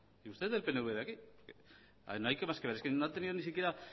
y usted es del pnv de aquí a ver es que no hay más que ver es que no ha tenido ni siquiera